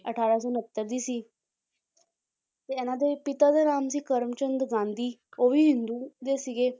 ਅਠਾਰਾਂ ਸੌ ਉਣੱਤਰ ਦੀ ਸੀ ਤੇ ਇਹਨਾਂ ਦੇ ਪਿਤਾ ਦਾ ਨਾਮ ਸੀ ਕਰਮਚੰਦ ਗਾਂਧੀ ਉਹ ਵੀ ਹਿੰਦੂ ਦੇ ਸੀਗੇ